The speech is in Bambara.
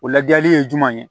O lajɛli ye jumɛn ye